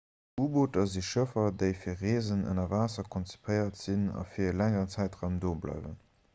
u-booter si schëffer déi fir reesen ënner waasser konzipéiert sinn a fir e längeren zäitraum do bleiwen